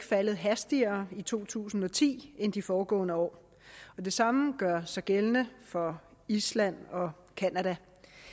faldet hastigere i to tusind og ti end de foregående år og det samme gør sig gældende for island og canada